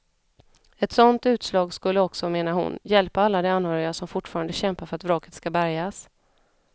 Ett sådant utslag skulle också, menar hon, hjälpa alla de anhöriga som fortfarande kämpar för att vraket ska bärgas.